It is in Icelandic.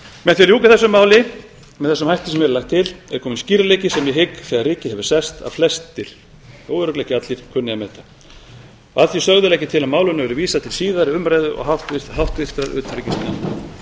með því að ljúka þessu máli með þessum hætti sem hér er lagt til er kominn skýrleiki sem ég hygg þegar rykið hefur sest að flestir þó örugglega ekki allir kunni að meta að því sögðu legg ég til að málinu verði vísað til síðari umræðu og